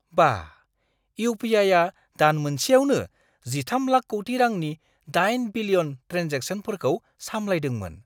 बा...! इउ.पि.आइ.आ दान मोनसेयावनो 13 लाख कौटि रांनि 8 बिलियन ट्रेन्जेकशनफोरखौ सामलायदोंमोन।